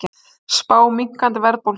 Spá minnkandi verðbólgu